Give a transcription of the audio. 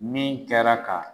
Min kɛra ka